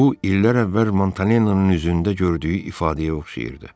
Bu illər əvvəl Montanonun üzündə gördüyü ifadəyə oxşayırdı.